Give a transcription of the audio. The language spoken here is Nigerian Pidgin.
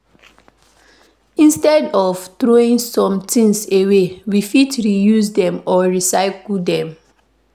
instead of throwing some things away, we fit reuse them or recycle them